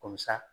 Ko musa